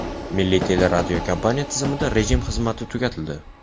Milliy teleradiokompaniya tizimida rejim xizmati tugatildi.